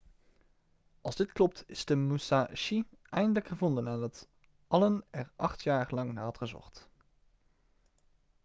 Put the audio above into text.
als dit klopt is de musashi eindelijk gevonden nadat allen er acht jaar lang naar had gezocht